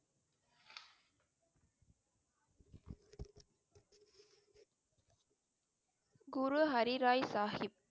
Guru Har Rai Sahib